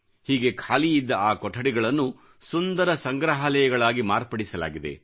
ಹೀಗೆ ಖಾಲಿಯಿದ್ದ ಆ ಕೊಠಡಿಗಳನ್ನು ಸುಂದರ ಸಂಗ್ರಹಾಲಯಗಳಾಗಿ ಮಾರ್ಪಡಿಸಲಾಗಿದೆ